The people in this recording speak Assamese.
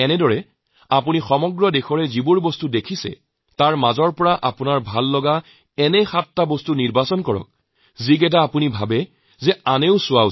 এইদৰে আপুনি সমগ্ৰ দেশত যিবোৰ দেখিছে তাৰ মাজত সাতটি দিশ আপোনালোকৰ ভাল লাগিছে আপুনি চাব কাৰোবাৰ নহয় কাৰোবাৰ সেইটো চোৱাৰ হেঁপাহ জাগিব